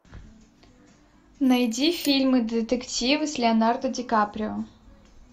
найди фильмы детективы с леонардо ди каприо